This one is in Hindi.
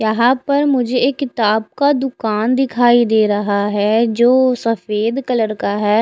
यहाँ पर मुझे एक किताब का दुकान दिखाई दे रहा है जो सफ़ेद कलर का है।